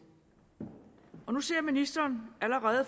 og nu ser ministeren allerede